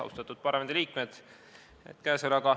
Austatud parlamendiliikmed!